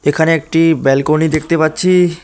এখানে একটি ব্যালকনি দেখতে পাচ্ছি।